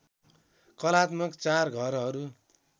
कलात्मक चार घरहरू